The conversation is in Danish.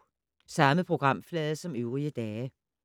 Samme programflade som øvrige dage